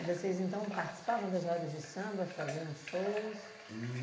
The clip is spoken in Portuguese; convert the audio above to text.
E vocês, então, participavam das rodas de samba, faziam shows?